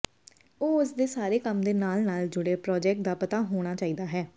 ਉਹ ਉਸ ਦੇ ਸਾਰੇ ਕੰਮ ਦੇ ਨਾਲ ਨਾਲ ਜੁੜੇ ਪ੍ਰਾਜੈਕਟ ਦਾ ਪਤਾ ਹੋਣਾ ਚਾਹੀਦਾ ਹੈ